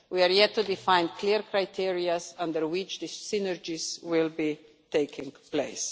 We are yet to define clear criteria under which the synergies will be taking place.